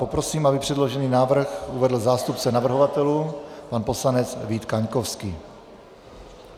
Poprosím, aby předložený návrh uvedl zástupce navrhovatelů pan poslanec Vít Kaňkovský.